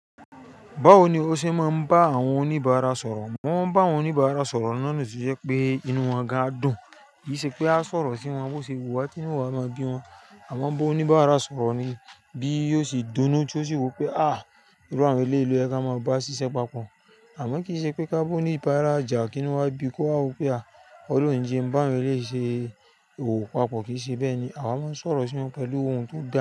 Báwo ni o ṣe máa ń bá àwọn oníbàárà sọ̀rọ̀? Wọ́n ń bá àwọn oníbàárà sọ̀rọ̀ ní ọ̀nà tí ó jẹ́ pé inú wọn ga a dùn. Kì í ṣe pé a sọ̀rọ̀ sí wọn bó ṣe wà tí wọ́n máa gbé wọn, àmọ́ bá oníbàárà sọ̀rọ̀ ni bí yóò ṣe dóná tí ó sì wí pé "à, irú àwọn eléèlo yẹ ka máa bá ṣiṣẹ́ papọ̀." Àmọ́ kì í ṣe pé ká bá oníbàárà jà kí inú wa gbé kó ha wí pé "à, ọlọ́run jẹ, bá won lé ṣe òwò papọ̀" kì í ṣe bẹ́ẹ̀ ni. A máa ń sọ̀rọ̀ sí wọn pẹ̀lú ohùn tó dáa.